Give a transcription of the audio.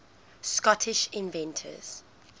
scottish inventors